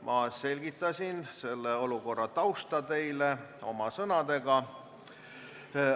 Ma selgitasin olukorra tausta oma sõnadega.